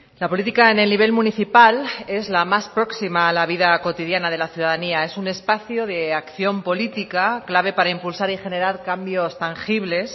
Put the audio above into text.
la política en el nivel municipal es la más próxima a la vida cotidiana de la ciudadanía es un espacio de acción política clave para impulsar y generar cambios tangibles